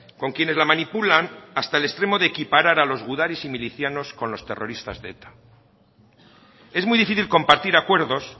con quienes la manipulan hasta el extremo de equiparar a los gudaris y milicianos con los terroristas de eta es muy difícil compartir acuerdos